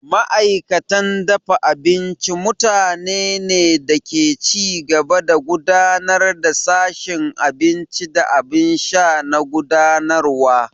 Ma'aikatan dafa abinci mutanene ne da ke ci gaba da gudanar da sashin abinci da abin sha na gudanarwa.